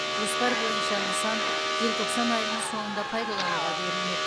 жоспар бойынша нысан желтоқсан айының соңында пайдалануға берілмек